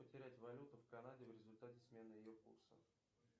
потерять валюту в канаде в результате смены ее курса